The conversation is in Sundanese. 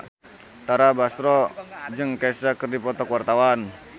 Tara Basro jeung Kesha keur dipoto ku wartawan